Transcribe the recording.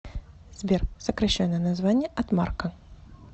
сбер сокращенное название от марка